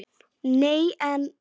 Nei en.